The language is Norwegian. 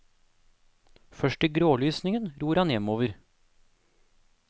Først i grålysningen ror han hjemover.